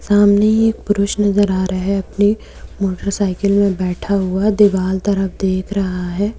सामने एक पुरुष नजर आ रहा है अपने मोटरसाइकिल में बैठा हुआ दीवाल तरफ देख रहा है।